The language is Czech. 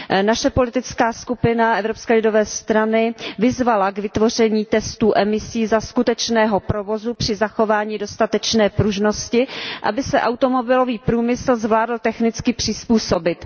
Naše politická skupina Evropské lidové strany vyzvala k vytvoření testů emisí za skutečného provozu při zachování dostatečné pružnosti, aby se automobilový průmysl zvládl technicky přizpůsobit.